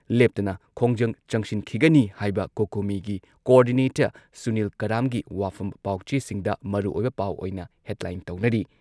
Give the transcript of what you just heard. ꯂꯦꯞꯇꯅ ꯈꯣꯡꯖꯪ ꯆꯪꯁꯤꯟꯈꯤꯒꯅꯤ ꯍꯥꯏꯕ ꯀꯣꯀꯣꯃꯤꯒꯤ ꯀꯣꯑꯣꯔꯗꯤꯅꯦꯇꯔ ꯁꯨꯅꯤꯜ ꯀꯔꯥꯝꯒꯤ ꯋꯥꯐꯝ ꯄꯥꯎꯆꯦꯁꯤꯡꯗ ꯃꯔꯨꯑꯣꯏꯕ ꯄꯥꯎ ꯑꯣꯏꯅ ꯍꯦꯗꯂꯥꯏꯟ ꯇꯧꯅꯔꯤ ꯫